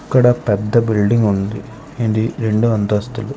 ఇక్కడ పెద్ద బిల్డింగ్ ఉంది ఇది రెండు అంతస్తులు --